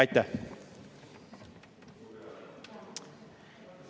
Aitäh!